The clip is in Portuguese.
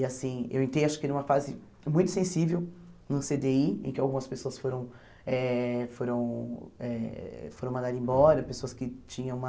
E assim, eu entrei acho que numa fase muito sensível no cê dê i, em que algumas pessoas foram eh... foram eh... foram mandar embora, pessoas que tinham uma...